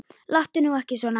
Láttu nú ekki svona.